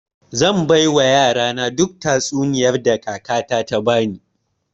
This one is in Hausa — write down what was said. Zai baiwa yarana duk tatsuniyar da kakata ta bani